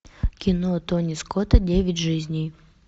кино тони скотта девять жизней